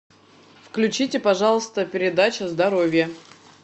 включите пожалуйста передачу здоровье